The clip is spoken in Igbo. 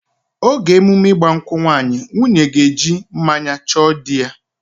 Oge emume ịgba nkwụ nwaanyị, nwunye ga-eji mmanya nkwụ chọọ dị ya